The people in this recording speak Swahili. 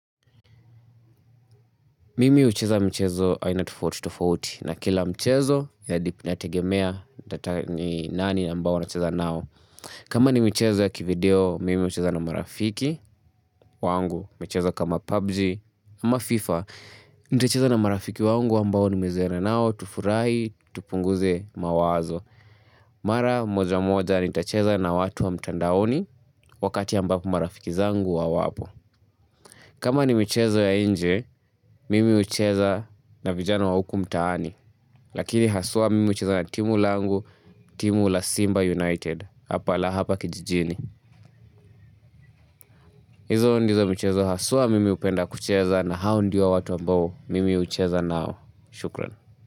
Mimi hucheza mchezo aina tofauti tofauti na kila mchezo ina dip inategemea ni nani ambao nacheza nao. Kama ni michezo ya kivideo, mimi hucheza na marafiki wangu, michezo kama PUBG ama FIFA, nitacheza na marafiki wangu ambao nimezoeana nao, tufurahi, tupunguze mawazo. Mara moja moja nitacheza na watu wa mtandaoni wakati ambapo marafiki zangu hawapo. Kama ni michezo ya nje, mimi hucheza na vijana wa huku mtaani, lakini haswa mimi hucheza na timu langu, timu la Simba United, hapa la hapa kijijini. Hizo ndizo michezo haswa mimi hupenda kucheza na hao ndio watu ambao mimi hucheza nao. Shukran.